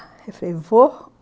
Eu falei, vou.